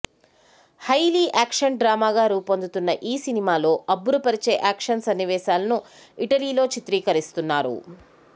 highly action డ్రామాగా రూపొందుతున్న ఈ సినిమాలో అబ్బురపరిచే యాక్షన్ సన్నివేశాలను ఇటలీలో చిత్రీకరిస్తున్నారు